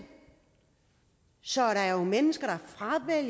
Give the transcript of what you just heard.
så der er jo mennesker